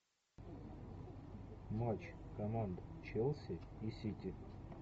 матч команд челси и сити